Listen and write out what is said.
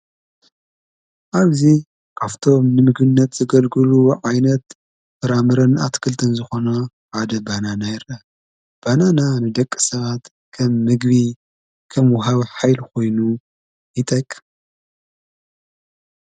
ካፍቶም ንምግነት ዘገልግሉ ዓይነት ፍራምረን ኣትክልትን ዝኾነ ሓደ ባናና ይርአ ።ባናና ንደቂ ሰባት ከም ምግቢ ከም ወሃቢ ሓይሊ ኾይኑ ይጠቅም።